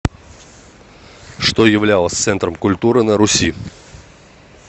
что являлось центром культуры на руси